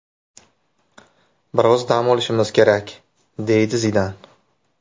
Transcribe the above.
Biroz dam olishimiz kerak”, deydi Zidan.